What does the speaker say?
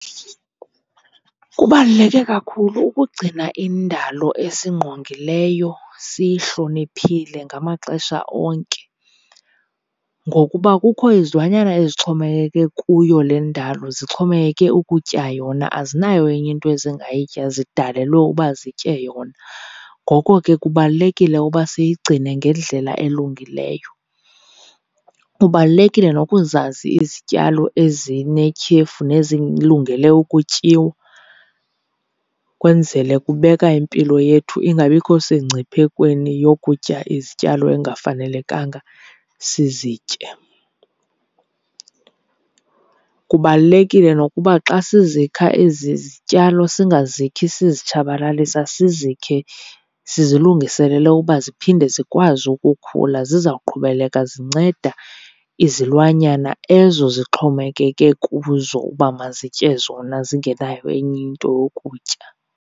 Kubaluleke kakhulu ukugcina indalo esingqongileyo siyihloniphile ngamaxesha onke ngokuba kukho izilwanyana ezixhomekeke kuyo le ndalo, zixhomekeke ukutya yona, azinayo enye into ezingayitya zidalelwe uba zitye yona. Ngoko ke kubalulekile uba siyigcine ngendlela elungileyo. Kubalulekile nokuzazi izityalo ezinetyhefu nezilungele ukutyiwa, kwenzele kubeka impilo yethu ingabikho sengciphekweni yokutya izityalo engafanelekanga sizitye. Kubalulekile nokuba xa sizikha ezi zityalo singazikhi sizitshabalalisa, sizikhe sizilungiselele uba ziphinde zikwazi ukukhula zizawuqhubeleka zinceda izilwanyana ezo zixhomekeke kuzo uba mazitye zona zingenayo enye into yokutya.